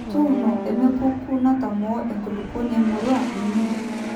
tuuno emepekku natamoo enkulupuoni emurrua inyi